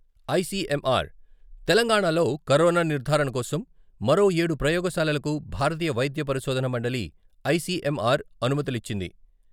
ICMR తెలంగాణాలో corona నిర్ధారణ కోసం మరో ఏడు ప్రయోగశాలలకు భారతీయ వైద్య పరిశోదన మండలి ఐసీఎంఆర్ అనుమతులిచ్చింది.